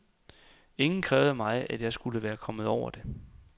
Ingen krævede af mig, at jeg skulle være kommet over det.